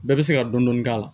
Bɛɛ bɛ se ka dɔni dɔni k'a la